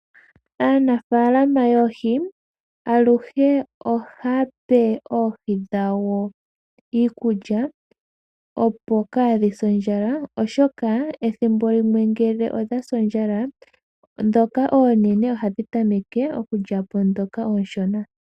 Aanafaalama yoohi aluhe ohaa pe oohii dhawo iikulya ya gwana opo kaa dhi se ondjala. Ngele odha si ondjala ihe kapuna iikulya, ndhoka oonene ohadhi tameke okulya po ndhoka oonshona.